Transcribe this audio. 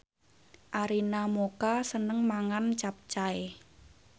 Arina Mocca seneng mangan capcay